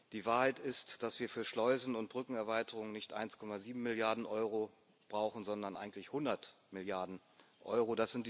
Die Wahrheit ist, dass wir für Schleusen und Brückenerweiterungen nicht 1,7 Milliarden Euro brauchen, sondern eigentlich 100 Milliarden Euro.